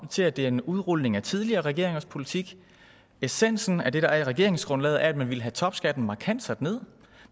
til at det er en udrulning af tidligere regeringers politik essensen af det der er i regeringsgrundlaget er at man ville have topskatten markant sat ned